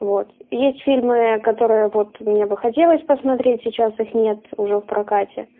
вот есть фильмы которые вот мне бы хотелось посмотреть сейчас их нет уже в прокате